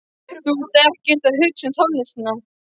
Þú ert ekkert að hugsa um tónlistina.